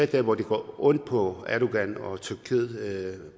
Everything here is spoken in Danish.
der hvor det gør ondt på erdogan og tyrkiet